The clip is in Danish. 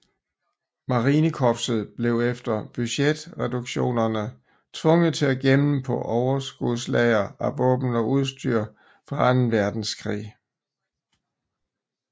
Marinekorpset blev efter budgetreduktionerne tvunget til at gemme på overskudslagre af våben og udstyr fra 2